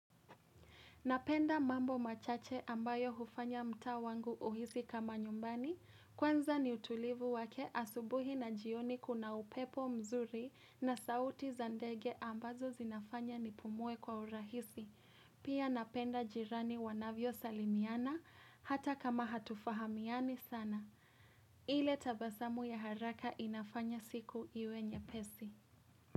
Napenda mambo machache ambayo hufanya mtaa wangu uhisi kama nyumbani. Kwanza ni utulivu wake asubuhi na jioni kuna upepo mzuri na sauti za ndege ambazo zinafanya nipumue kwa urahisi. Pia napenda jirani wanavyo salimiana hata kama hatufahamiani sana. Ile tabasamu ya haraka inafanya siku iwe nyepesi.